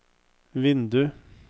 vindu